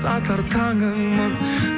атар таңыңмын